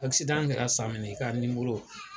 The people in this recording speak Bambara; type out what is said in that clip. kɛra san min na i k'a